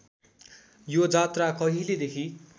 यो जात्रा कहिलेदेखि